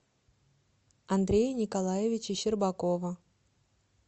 андрея николаевича щербакова